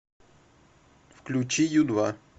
включи ю два